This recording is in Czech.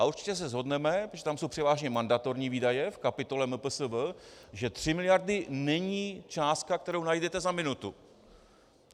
A určitě se shodneme protože tam jsou převážně mandatorní výdaje v kapitole MPSV, že 3 miliardy není částka, kterou najdete za minutu.